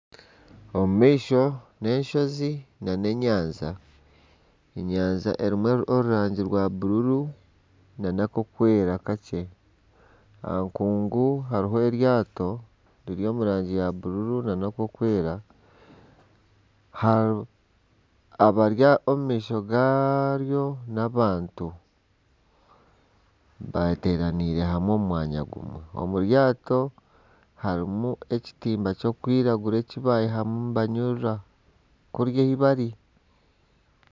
Omu maisho n'enshozi nana enyanja, enyanja erimu orurangi rwa bururu nana ak'okwera kakye. Aha nkungu hariho eryato riri omu rangi ya bururu nana ak'okwera. Abari omu maisho garyo n'abantu bateeraniire hamwe omu mwanya gumwe. Omu ryato harimu ekitimba kikwiragura eki baihamu nibanyurura kuriya ei bari.